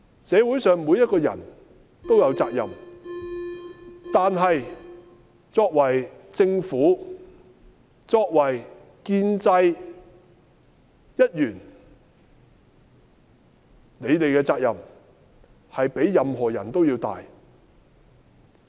社會上每一個人都有責任，但是作為政府，作為建制一員，你們的責任較任何人都要大。